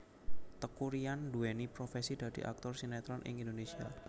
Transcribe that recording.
Teuku Ryan nduwéni profesi dadi aktor sinetron ing Indonésia